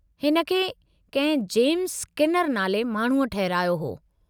हिन खे कंहिं जेम्स स्किनर नाले माण्हूअ ठहिरायो हो।